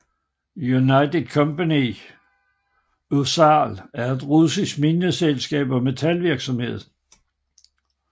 United Company RUSAL er et russisk mineselskab og metalvirksomhed